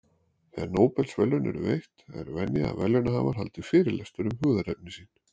Þegar Nóbelsverðlaun eru veitt, er venja að verðlaunahafar haldi fyrirlestur um hugðarefni sín.